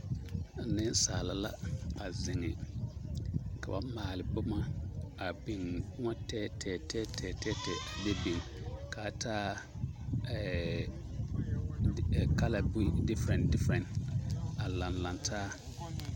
Nensaala la a zeŋ ka ba maale boma a biŋ boma tɛɛtɛɛ tɛɛtɛɛ tɛɛtɛɛ tɛɛtɛɛ a biŋ k'a taa kala diferɛn diferɛn a laŋ laŋ taa.